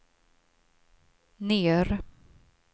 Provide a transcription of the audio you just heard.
ner